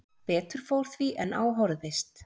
Betur fór því en á horfðist